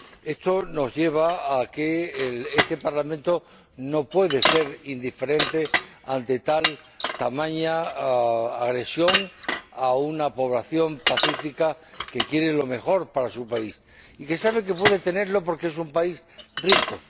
Esto nos lleva a que este Parlamento no puede ser indiferente ante tamaña agresión a una población pacífica que quiere lo mejor para su país y que sabe que puede tenerlo porque es un país rico.